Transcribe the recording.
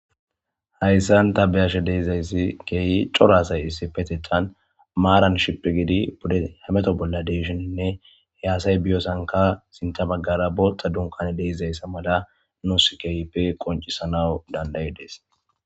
hayssan ta beyashe de'izayssi keeyi cora asay issipetethan maaran shippi gidi pude hameto bolla de'ishininne he asay biyosanika sinta baggara bootha dunkane de'izayssa mala nuus keyipe qoncisanawu danida'idees